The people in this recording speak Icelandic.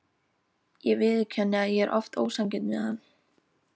Ég viðurkenni að ég er oft ósanngjörn við hann.